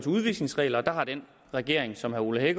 udvisningsregler og der har den regering som herre ole